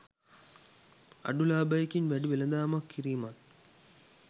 අඩු ලාබයකින් වැඩි වෙළඳාමක් කිරීමත්